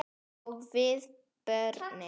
Og við börnin.